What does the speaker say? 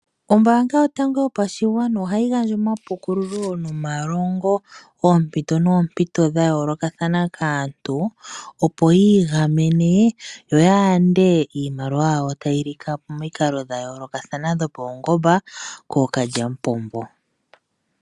Ombaanga yotango yopashigwana ohayi gandja omapukululo nomalongo poompito nompito dha yoolokathana kaantu opo yi igamene yo ya yande iimaliwa yawo tayi lika po pomikalo dha yoolokathana dhopaungomba kookalya mupombo.